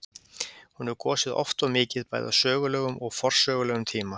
Hún hefur gosið oft og mikið, bæði á sögulegum og forsögulegum tíma.